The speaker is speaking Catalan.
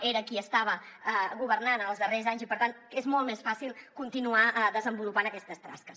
era qui estava governant els darrers anys i per tant és molt més fàcil continuar desenvolupant aquestes tasques